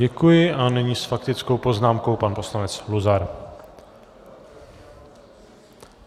Děkuji a nyní s faktickou poznámkou pan poslanec Luzar.